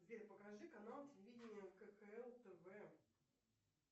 сбер покажи канал телевидения кхл тв